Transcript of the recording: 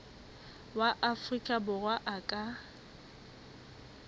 wa afrika borwa a ka